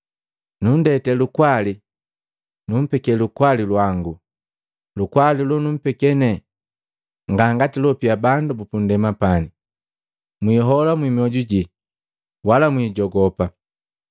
“Nundeke lukwali, numpeke lukwali lwangu. Lukwali lonumpeke nepani nga ngati loapia bandu bupundema pane. Mwihola mmiojuji, wala mwijogopa.